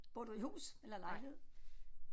Bor du i hus eller lejlighed